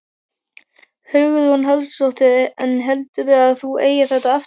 Hugrún Halldórsdóttir: En heldurðu að þú gerir þetta aftur?